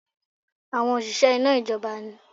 Àwọn òṣìṣẹ́ iná ìjọba ni